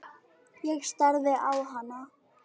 Ég starði á hana.